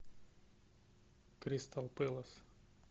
кристал пэлас